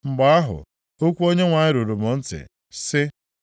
Mgbe ahụ, okwu Onyenwe anyị ruru m ntị, sị,